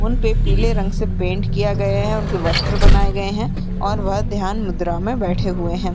उनपे पीले रंग से पेंट किया गए है उनके वस्त्र बनाए गए हैं और वह ध्यान मुद्रा में बैठे हुए हैं।